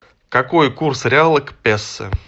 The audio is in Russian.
какой курс реала к песо